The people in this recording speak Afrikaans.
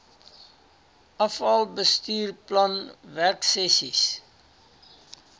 afal bestuursplan werksessies